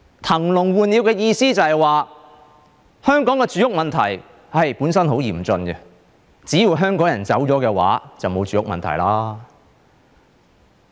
騰籠換鳥的意思就是，香港的住屋問題本身很嚴峻，只要香港人走了，便沒有住屋問題。